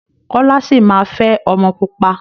Kọ́lá sì máa fẹ́ ọmọ pupa.